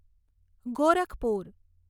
Gorakhpur